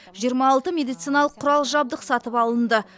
жиырма алты медициналық құрал жабдық сатып алынды